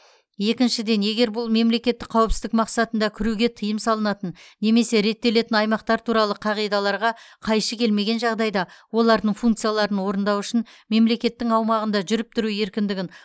екіншіден егер бұл мемлекеттік қауіпсіздік мақсатында кіруге тыйым салынатын немесе реттелетін аймақтар туралы қағидаларға қайшы келмеген жағдайда олардың функцияларын орындау үшін мемлекеттің аумағында жүріп тұру еркіндігін